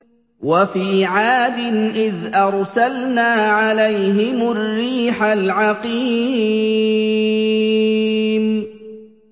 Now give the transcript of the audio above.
وَفِي عَادٍ إِذْ أَرْسَلْنَا عَلَيْهِمُ الرِّيحَ الْعَقِيمَ